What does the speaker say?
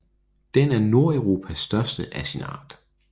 Den er Nordeuropas største af sin art